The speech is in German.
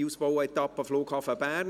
4. Ausbauetappe Flughafen Bern»: